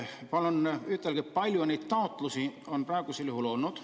Palun ütelge, kui palju neid taotlusi on praegu olnud.